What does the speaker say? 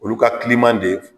Olu ka kiliman de